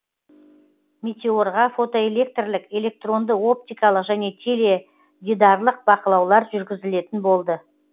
метеорға фотоэлектрлік электронды оптикалық және теледидарлық бақылаулар жүргізілетін болды